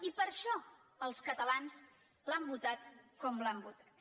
i per això els catalans l’han votat com l’han votat